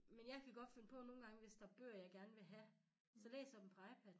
Men jeg kan godt finde på nogen gange hvis der er bøger jeg gerne vil have så læser jeg dem på iPad'en